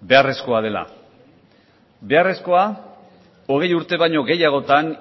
beharrezkoa dela beharrezkoa hogei urte baino gehiagotan